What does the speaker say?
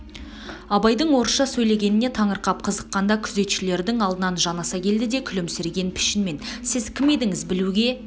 абайдың орысша сөйлегеніне таңырқап қызыққанда күзетшілердің алдынан жанаса келді де күлімсіреген пішінмен сіз кім едіңіз білуге